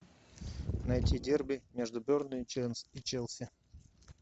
найти дерби между бернли и челси